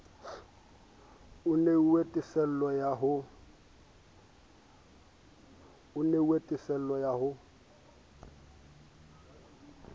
a nehuwe tesello ya ho